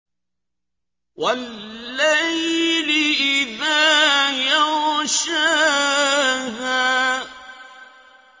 وَاللَّيْلِ إِذَا يَغْشَاهَا